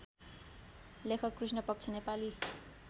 लेखक कृष्णपक्ष नेपाली